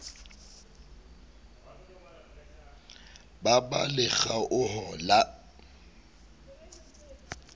ba ba le kgaoho ya